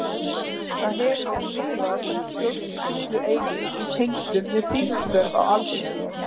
Það hefur því lifað sem stjórnsýslueining í tengslum við þingstörf á Alþingi.